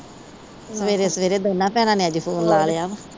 ਸਵੇਰੇ-ਸਵੇਰੇ ਅੱਜ ਦੋਨਾਂ ਭੈਣਾਂ ਨੇ ਫੋਨ ਲਾ ਲਿਆ।